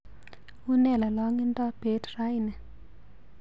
Une lolongindo beet raini